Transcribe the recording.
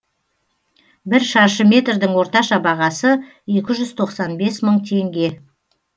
бір шаршы метрдің орташа бағасы екі жүз тоқсан бес мың теңге